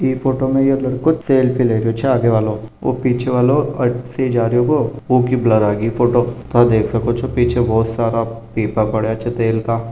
इ फोटो में यो लडको सेल्फी ले रहो छे आगे बालो पीछे वालो अथ्ती जा रहो हो ओकी ब्लर आगे फोटो था देख सके छे पीछे बहुत सारे पीपा पड़े छे तेल का --